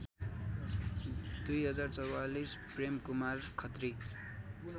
२०४४ Premkumar Khatri